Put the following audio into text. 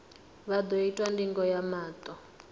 vha ḓo itwa ndingo ya maṱo